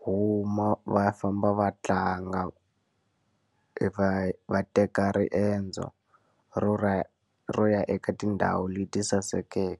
huma va famba va tlanga, e va va teka riendzo ro ro ya eka tindhawu leti sasekeke.